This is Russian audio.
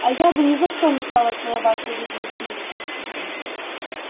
а я бы ни за что не стала целоваться без любви